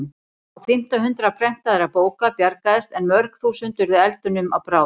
Á fimmta hundrað prentaðra bóka bjargaðist en mörg þúsund urðu eldinum að bráð.